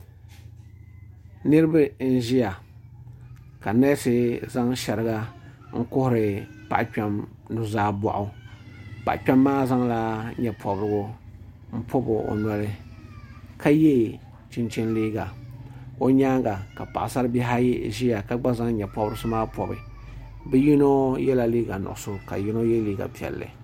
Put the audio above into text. Niriba n ziya ka nɛsi zaŋ shɛriga n kuhiri paɣa kpɛm nuu zaa bɔɣu paɣa kpɛma maa zaŋla yee pɔbirigu n pɔbi o noli ka ye chinchini liiga o yɛanga ka paɣasara bihi ayi ziya ka gba zaŋ yee pɔbirisi pɔbi bi yino yela liiga nuɣiso ka yino ye liiga piɛlli.